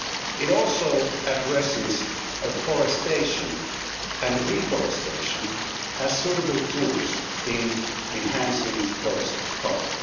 It also addresses afforestation and reforestation as suitable tools in enhancing forest cover.